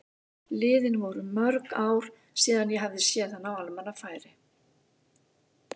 Liðin voru mörg ár síðan ég hafði séð hana á almannafæri.